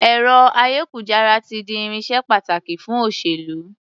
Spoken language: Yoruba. Ẹ̀rọ-ayékujára ti di irinṣẹ́ pàtàkì fún òṣèlú.